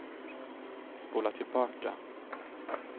spola tillbaka